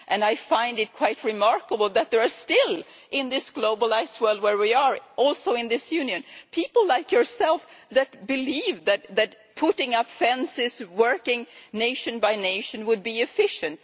I find it quite remarkable that there are still, in this globalised world where we are, and also in this Union, people like yourself who believe that putting up fences, working nation by nation, would be efficient.